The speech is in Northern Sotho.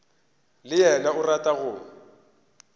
le yena o rata go